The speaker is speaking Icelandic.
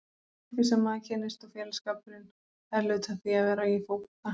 Fólkið sem maður kynnist og félagsskapurinn, það er hluti af því að vera í fótbolta.